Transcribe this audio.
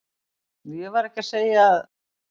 Ég var ekki að segja að.